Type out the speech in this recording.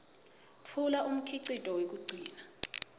tfula umkhicito wekugcina